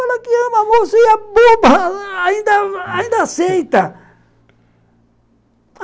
Fala que ama, moça, e a boba ainda aceita